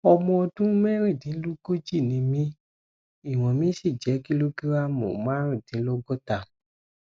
ọmọ ọdún mẹrìndínlógójì ni mí ìwọn mi sì jẹ kílógírámù márùndínlọgọta